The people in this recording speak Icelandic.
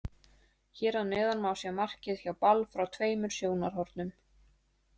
Hér að neðan má sjá markið hjá Ball frá tveimur sjónarhornum.